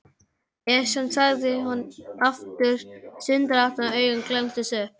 Esjan sagði hann aftur stundarhátt og augun glenntust upp.